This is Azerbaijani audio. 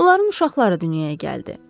Onların uşaqları dünyaya gəldi.